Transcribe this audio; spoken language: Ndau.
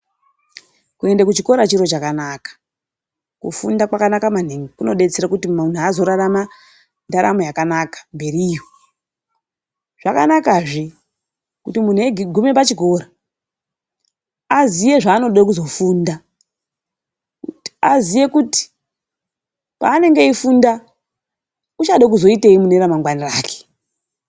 Kuenda kuchikora chiro chakanaka kufunda kwakanaka maningi kunodetsera kuti mundu azorarama ndaramo yakanaka mberiyo zvakanakazve kuti mundu woguma pachikora aziye zvaanoda kuzofunda kuti aziye kuti kwanenge eifunda uchada kuzoitei mune ramangwana rake.